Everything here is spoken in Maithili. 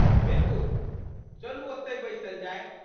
बिलकुल! चलू ओतहि बैसल जाय।